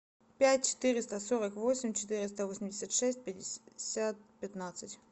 пять четыреста сорок восемь четыреста восемьдесят шесть пятьдесят пятнадцать